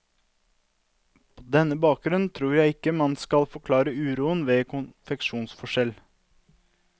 På denne bakgrunn tror jeg ikke man skal forklare uroen med konfesjonsforskjell.